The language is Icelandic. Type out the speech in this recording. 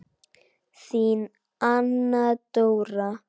Þín Anna Dóra.